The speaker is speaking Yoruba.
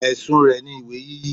Ẹ̀sùn rẹ̀ ni ìwé yíyí.